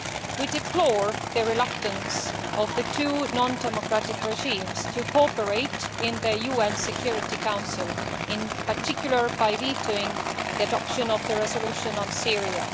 We deplore the reluctance of the two non democratic regimes to cooperate in the UN Security Council, in particular by vetoing the adoption of the resolution on Syria.